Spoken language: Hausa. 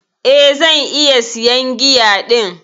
Eh, zan iya siyan giya din.